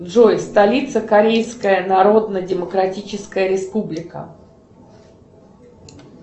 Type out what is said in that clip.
джой столица корейская народно демократическая республика